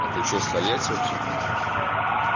а ты что с тольяти вообще